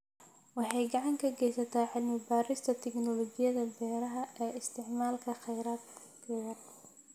Waxay gacan ka geysataa cilmi baarista tignoolajiyada beeraha ee isticmaala kheyraad yar.